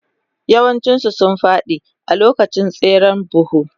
Yawancinsu sun fadi a lokacin tseren buhu.